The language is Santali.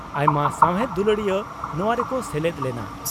ᱟᱭᱢᱟ ᱥᱟᱣᱦᱮᱫ ᱫᱩᱞᱟᱹᱲᱤᱭᱟᱹ ᱱᱚᱣᱟ ᱨᱮᱠᱚ ᱥᱮᱞᱮᱫ ᱞᱮᱱᱟ ᱾